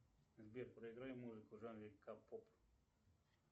сбер проиграй музыку в жанре к поп